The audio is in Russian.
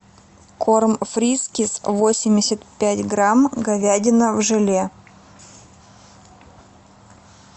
корм фрискис восемьдесят пять грамм говядина в желе